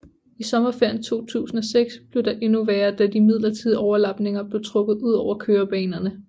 I sommerferien 2006 blev det endnu værre da de midlertidige overlapninger blev trukket udover kørebanerne